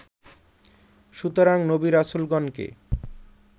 সুতরাং নবী রাসূলগণকে